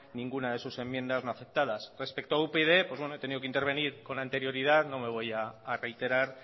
ninguna de sus enmiendas no aceptadas respecto a upyd como he tenido que intervenir con anterioridad no me voy a reiterar